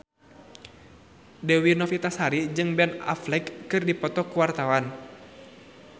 Dewi Novitasari jeung Ben Affleck keur dipoto ku wartawan